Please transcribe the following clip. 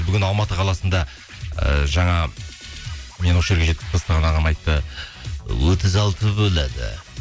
бүгін алматы қаласында ыыы жаңа мені осы жерге жеткізіп тастаған ағам айтты отыз алты болады